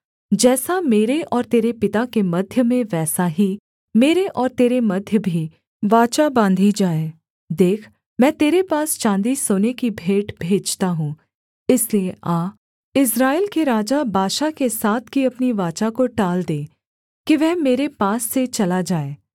जैसा मेरे और तेरे पिता के मध्य में वैसा ही मेरे और तेरे मध्य भी वाचा बाँधी जाएः देख मैं तेरे पास चाँदी सोने की भेंट भेजता हूँ इसलिए आ इस्राएल के राजा बाशा के साथ की अपनी वाचा को टाल दे कि वह मेरे पास से चला जाए